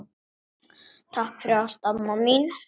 Takk fyrir allt, amma mín.